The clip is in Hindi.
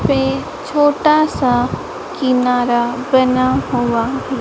पे छोटासा किनारा बना हुआ है।